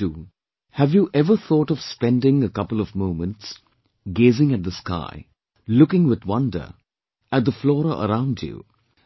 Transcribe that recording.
With so much to do, have you ever thought of spending a couple of moments gazing at the sky, looking with wonder at the flora around you,